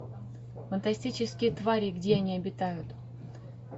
фантастические твари и где они обитают